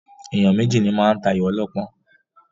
Èèyàn méjì ní máa ń tayò ọlọ́pọ́n.